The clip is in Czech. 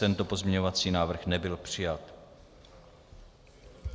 Tento pozměňovací návrh nebyl přijat.